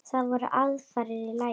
Það voru aðfarir í lagi!